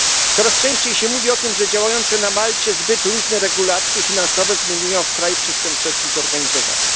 Coraz częściej się mówi o tym, że działające na Malcie zbyt luźne regulacje finansowe zamieniły ją w kraj przestępczości zorganizowanej.